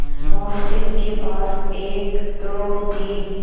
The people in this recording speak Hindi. मोहसिन के पास एक दो तीन